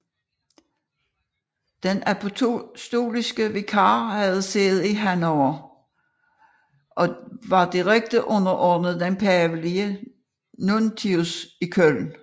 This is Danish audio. Den apostoliske vikar havde sæde i Hannover og var direkte underordnet den pavelige nuntius i Køln